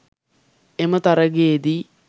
එම තරඟයේදී